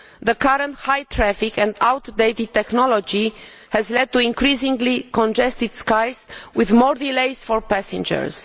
The current high volume traffic and outdated technology has led to increasingly congested skies with more delays for passengers.